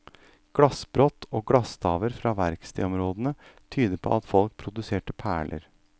Glassbrott og glasstaver fra verkstedområdene tyder på at folk produserte perler.